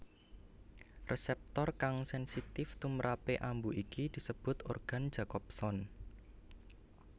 Resèptor kang sènsitif tumprapé ambu iki disebut organ Jacobson